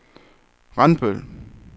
Randbøl